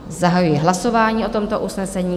Zahajuji hlasování o tomto usnesení.